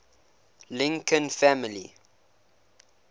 lincoln family